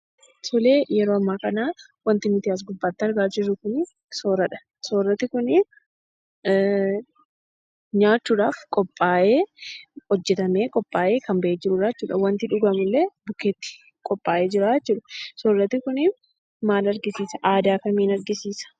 Tole, yeroo amma kana wanti as, gubbatti argaa jiru kun sooratadha. suuranni kunii, nyaachuudhaf qopha'ee, hojjetame qopha'ee kan, ba'e jirudha. wanti dhugumullee bukketti qopha'ee jira jechuudha. Soorrati kunii, mal argisiisa?,aadaa kamiin argisiisa?